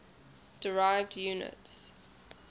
derived units